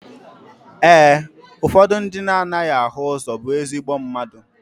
Ee, ụfọdụ ndị na anaghị afụ ụzọ bụ ezigbo mmadụ.